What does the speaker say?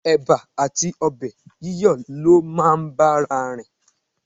Ẹ̀ba àti ọbẹ̀ yíyọ̀ ló máa ń bára rìn.